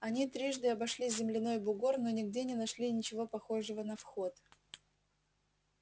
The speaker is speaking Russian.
они трижды обошли земляной бугор но нигде не нашли ничего похожего на вход